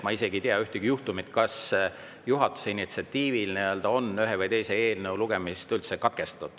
Ma aga ei tea ühtegi juhtumit, kas juhatuse initsiatiivil oleks ühe või teise eelnõu lugemine katkestatud.